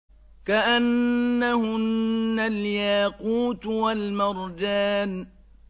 كَأَنَّهُنَّ الْيَاقُوتُ وَالْمَرْجَانُ